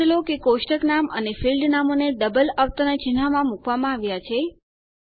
નોંધ લો કે કોષ્ટક નામ અને ફીલ્ડ નામોને ડબલ અવતરણ ચિન્હમાં મુકવામાં આવ્યાં છે